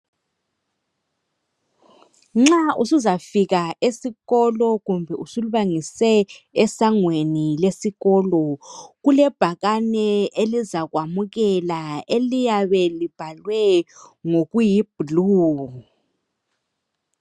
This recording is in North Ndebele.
Nxa usuzafika esikolo kumbe usulubangise esangweni lesikolo kulebhakane elizakwamukela eliyabe libhalwe ngokuyibhulu.